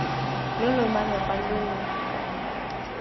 lo lo malepa lo lo